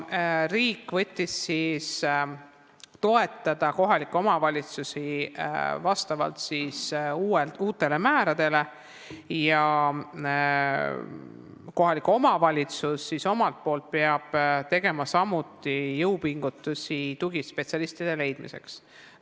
Riik võttis kohustuse toetada kohalikke omavalitsusi uute määrade järgi ja kohalik omavalitsus omalt poolt peab tegema samuti jõupingutusi tugispetsialistide leidmiseks.